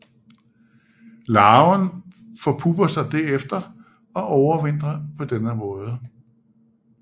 Larven forpupper sig derefter og overvintrer på denne måde